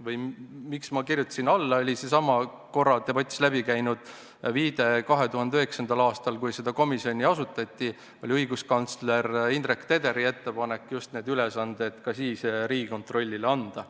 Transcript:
põhjus, miks ma kirjutasin alla, oli seesama ka täna debatis tehtud viide, et 2009. aastal, kui seda komisjoni asutati, oli õiguskantsler Indrek Tederi ettepanek need ülesanded just Riigikontrollile anda.